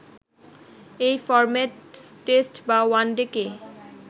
এই format test বা one day কে